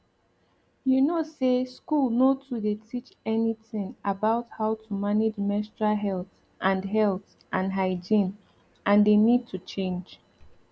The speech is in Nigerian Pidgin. you know say school nor too dey teach anything about how to manage menstrual health and health and hygiene and they need to change